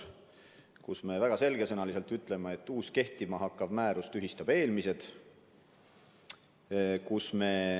Me ütleme väga selge sõnaga, et uus kehtima hakkav määrus tühistab eelmised.